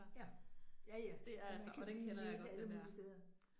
Ja, ja ja, den kan lige ligge alle mulige steder